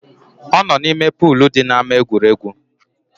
Ọ nọ n’ime polu di n’ama egwuregwu